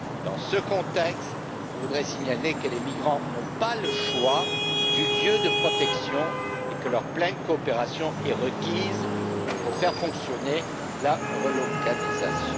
Dans ce contexte, je voudrais signaler que les migrants n'ont pas le choix du lieu de protection et que leur pleine coopération est requise pour faire fonctionner la relocalisation.